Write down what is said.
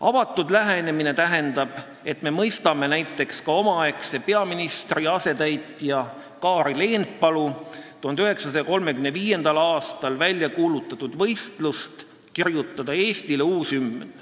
Avatud lähenemine tähendab, et me mõistame ka näiteks omaaegse peaministri asetäitja Kaarel Eenpalu 1935. aastal väljakuulutatud uue hümni kirjutamise võistlust.